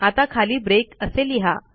आता खाली ब्रेक असे लिहा